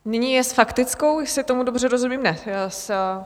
Nyní je s faktickou, jestli tomu dobře rozumím... ne?